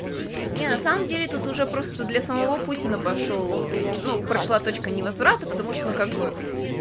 нет на самом деле тут уже просто для самого путина пошёл ну прошла точка невозврата потому что ну как бы